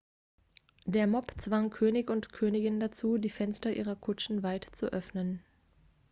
der mob zwang könig und königin dazu die fenster ihrer kutschen weit zu öffnen